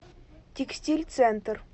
текстиль центр